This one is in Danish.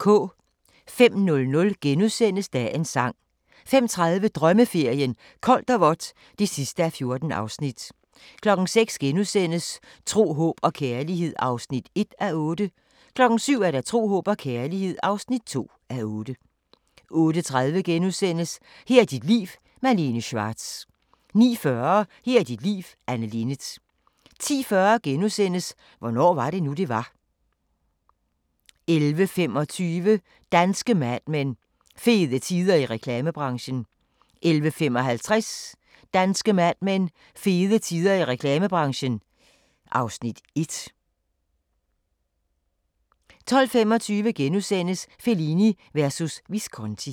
05:00: Dagens sang * 05:30: Drømmeferien: Koldt og vådt (14:14) 06:00: Tro, håb og kærlighed (1:8)* 07:00: Tro, håb og kærlighed (2:8) 08:30: Her er dit liv – Malene Schwartz * 09:40: Her er dit liv – Anne Linnet 10:40: Hvornår var det nu, det var? * 11:25: Danske Mad Men: Fede tider i reklamebranchen 11:55: Danske Mad Men: Fede tider i reklamebranchen (Afs. 1) 12:25: Fellini versus Visconti *